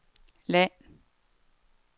land